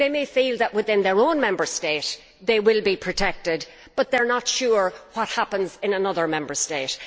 They may feel that within their own Member State they will be protected, but they are not sure what happens in another Member State.